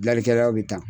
Gilalikɛlaw bi taa